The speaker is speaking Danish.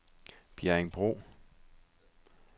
Bjerringbro